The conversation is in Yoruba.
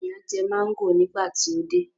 Àwọn èèyàn jẹ máńgò nígbà tí ó jáde